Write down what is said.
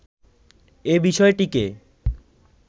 এ বিষয়টিকে